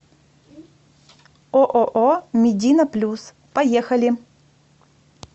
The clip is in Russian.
ооо медина плюс поехали